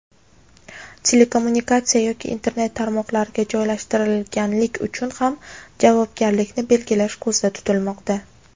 telekommunikatsiya yoki Internet tarmoqlariga joylashtirganlik uchun ham javobgarlikni belgilash ko‘zda tutilmoqda.